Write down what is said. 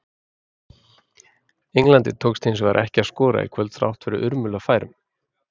Englandi tókst hins vegar ekki að skora í kvöld, þrátt fyrir urmul af færum.